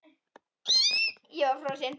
Ég var frosin.